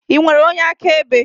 Ị nwere onye akaebe?